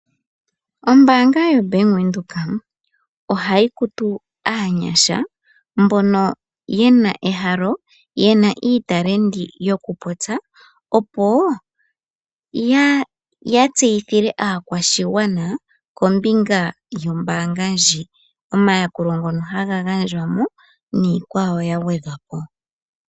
Ombanga yaBank Windhoek ohayi kutu aanyasha mbono yena ehalo no yena iitalendi yokupopya opo ya tseyithile aakwashigwana kombinga yomayakulo gombanga ndji, omayakulo ngoka haga gandjwamo niikwawo oyindji yagwedhwapo.